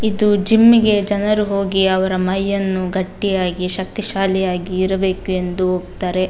ಇದು ಜಿಮ್ ಗೆ ಜನರು ಹೋಗಿ ಅವರ ಮೈಯನ್ನು ಗಟ್ಟಿಯಾಗಿ ಶಕ್ತಿಶಾಲಿಯಾಗಿ ಇರಬೇಕೆಂದು ಹೋಗ್ತಾರೆ.